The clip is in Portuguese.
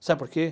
Sabe por quê?